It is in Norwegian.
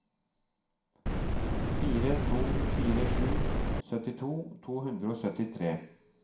fire to fire sju syttito to hundre og syttitre